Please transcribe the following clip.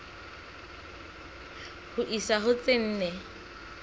ho isa ho tse nne